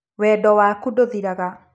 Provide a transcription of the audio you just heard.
Wendo waku ndũthiraga